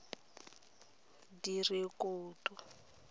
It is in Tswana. direkoto